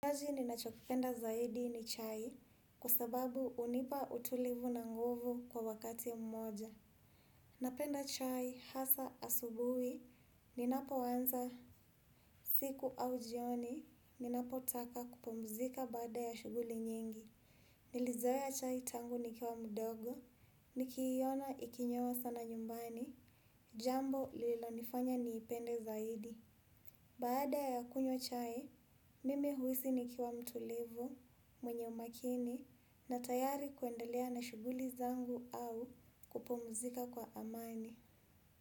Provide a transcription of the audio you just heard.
Kazi ninachokipenda zaidi ni chai kusababu hunipa utulivu na nguvu kwa wakati mmoja. Napenda chai hasa asubuhi, ninapo anza siku au jioni, ninapotaka kupumzika baada ya shughuli nyingi. Nilizoea chai tangu nikiwa mdogo, nikiiona ikinywewa sana nyumbani, jambo lilo nifanya niipende zaidi. Baada ya kunywa chai, mimi huhisi nikiwa mtulivu, mwenye umakini na tayari kuendelea na shughuli zangu au kupumzika kwa amani.